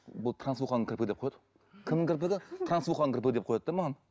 бұл трансуханың кірпігі деп қояды кімнің кірпігі трансуханың кірпігі деп қояды да маған